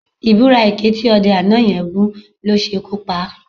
Ìbúra èké tí ọdẹ àná yẹn bú ló ṣekú pa á